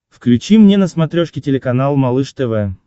включи мне на смотрешке телеканал малыш тв